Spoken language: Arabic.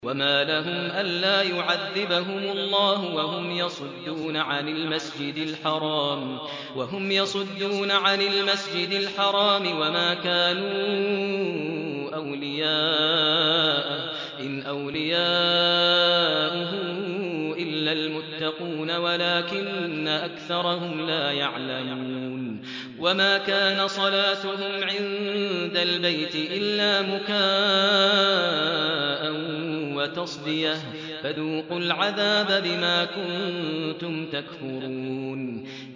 وَمَا لَهُمْ أَلَّا يُعَذِّبَهُمُ اللَّهُ وَهُمْ يَصُدُّونَ عَنِ الْمَسْجِدِ الْحَرَامِ وَمَا كَانُوا أَوْلِيَاءَهُ ۚ إِنْ أَوْلِيَاؤُهُ إِلَّا الْمُتَّقُونَ وَلَٰكِنَّ أَكْثَرَهُمْ لَا يَعْلَمُونَ